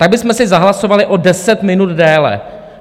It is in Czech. Tak bychom si zahlasovali o deset minut déle.